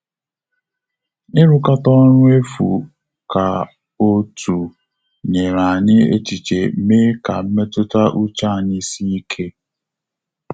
Irukata ọrụ efu ka otu nyere anyị echiche mee ka mmetụta uche anyị sie ike